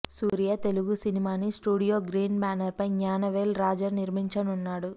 సూర్య తెలుగు సినిమాని studio green banner పై జ్ఞానవేల్ రాజ నిర్మించనున్నాడు